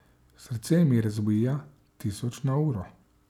Srce mi razbija tisoč na uro.